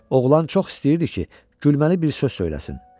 Oğlan çox istəyirdi ki, gülməli bir söz söyləsin.